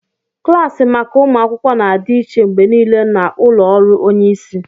Klaasị maka ụmụ akwụkwọ na-adị iche mgbe niile na ụlọ ọrụ onye isi